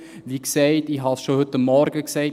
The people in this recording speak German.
Wie gesagt – ich habe es schon heute Morgen gesagt: